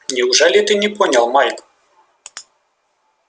неужели ты не понял майк